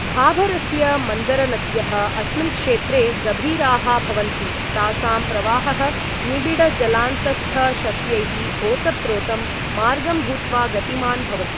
भाभरस्य मन्दरनद्यः अस्मिन् क्षेत्रे गभीराः भवन्ति, तासां प्रवाहः निबिड जलान्तस्थशस्यैः ओतप्रोतं मार्गं भूत्वा गतिमान् भवति।